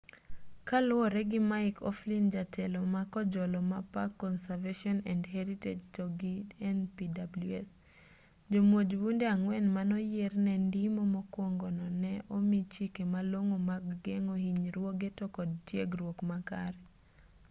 kaluwore gi mick o'flynn jatelo ma kojolo ma park conservation and heritage to gi npws jomuoj bunde ang'wen manoyier ne ndimo mokuongo no ne omi chike malong'o mag geng'o hinyruoge to kod tiegruok makare